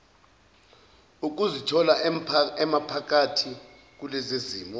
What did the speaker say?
ukuzithola emaphakathi kulezizimo